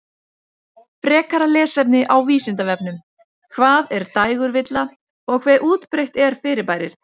Frekara lesefni á Vísindavefnum: Hvað er dægurvilla og hve útbreitt er fyrirbærið?